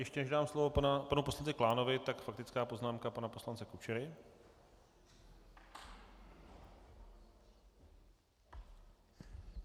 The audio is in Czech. Ještě než dám slovo panu poslanci Klánovi, tak faktická poznámka pana poslance Kučery.